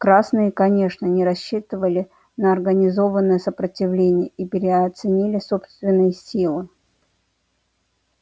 красные конечно не рассчитывали на организованное сопротивление и переоценили собственные силы